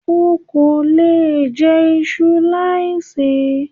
O kò lè jẹ iṣu láì ṣe é.